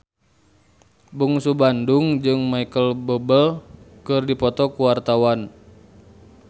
Bungsu Bandung jeung Micheal Bubble keur dipoto ku wartawan